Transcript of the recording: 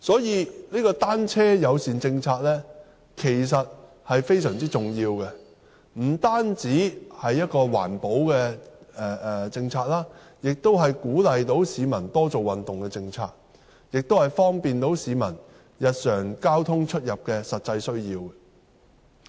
因此，"單車友善"政策其實非常重要，不單是一項環保的政策，而且能鼓勵市民多做運動，又能滿足市民日常的實際交通需要。